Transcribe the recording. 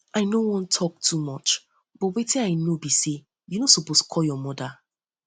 i no wan talk too much but wetin i know be say you no suppose call your mother